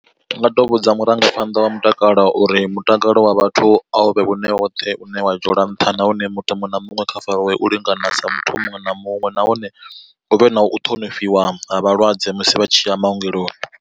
Ndi nga to vhudza murangaphanḓa wa mutakalo uri mutakalo wa vhathu a u vhe wone woṱhe une wa dzhielwa nṱha nahone muthu muṅwe na muṅwe kha fariwe u lingana sa muthu muṅwe na muṅwe, nahone hu vhe na u ṱhonifhiwa ha vhalwadze musi vha tshi ya maongeloni.